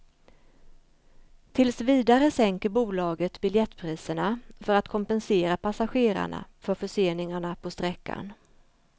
Tills vidare sänker bolaget biljettpriserna för att kompensera passagerarna för förseningarna på sträckan.